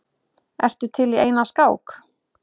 Ertu til í eina skák?